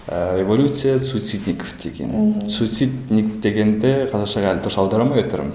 ыыы революция суицидников деген мхм судицидник дегенді қазақшағы әлі дұрыс аудара алмай отырмын